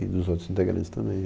E dos outros integrantes também.